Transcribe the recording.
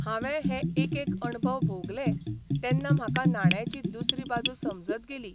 हावें हे एकेक अणभव भोगलें तेन्ना म्हाका नाण्याची दुसरी बाजू समजत गेली.